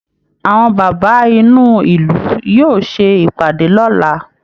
Àwọn bàbá inú ìlú yóò ṣe ìpàdé lọ́la